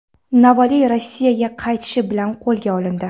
Navalniy Rossiyaga qaytishi bilan qo‘lga olindi.